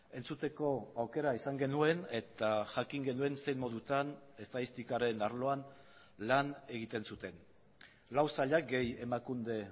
entzuteko aukera izan genuen eta jakin genuen zein modutan estatistikaren arloan lan egiten zuten lau sailak gehi emakunde